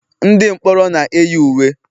ndị mkpọrọ na-eyi uwe